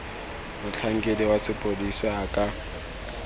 motlhankedi wa sepodisi a ka